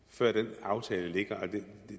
før den aftale ligger